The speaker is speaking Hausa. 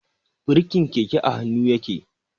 Birkin keke a hannu yake.